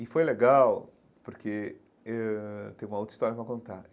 E foi legal, porque eh ãh tem uma outra história para contar.